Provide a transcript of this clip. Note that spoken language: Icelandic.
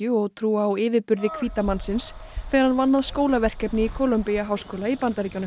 og trúa á yfirburði hvíta mannsins þegar hann vann að skólaverkefni í Columbia háskóla í Bandaríkjunum